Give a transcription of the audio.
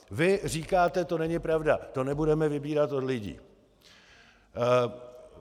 Vy říkáte to není pravda, to nebudeme vybírat od lidí.